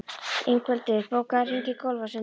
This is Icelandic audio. Ingveldur, bókaðu hring í golf á sunnudaginn.